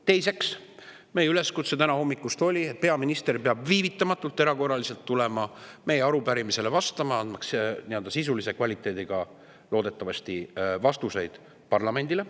Teiseks, meie üleskutse täna hommikul oli, et peaminister peab erakorraliselt tulema viivitamatult meie arupärimisele vastama, andmaks loodetavasti nii-öelda sisulise kvaliteediga vastuseid parlamendile.